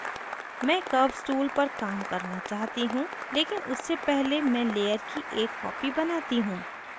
मैं curves tool पर काम करना चाहती हूँ लेकिन उससे पहले मैं layer की एक copy बनाती हूँ